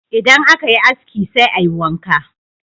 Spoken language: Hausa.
Idan aka yi aski sai a yi wanka.